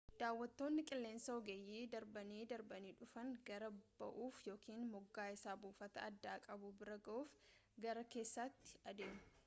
daawattoonni qilleensaa ogeeyyii darbanii darbanii dhufan gaara ba'uuf yookaan moggaa isa buufata addaa qabu bira ga'uuf gara keessaatti adeemu